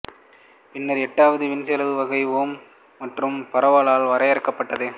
பின்னர் எட்டாவது வீண்செலவு வகை ஓமக் மற்றும் பலரால் வரையறுக்கப்பட்டது